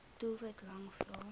doelwit lang vrae